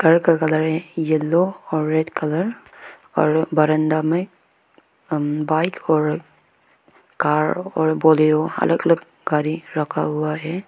Yellow और red colour और बरांदा में बाइक और कार और बोलेरो अलग अलग गाड़ी रखा हुआ है।